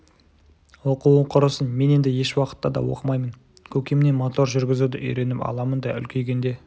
оқуы құрысын мен енді еш уақытта да оқымаймын көкемнен мотор жүргізуді үйреніп аламын да үлкейгенде